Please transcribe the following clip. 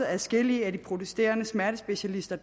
adskillige af de protesterende smertespecialister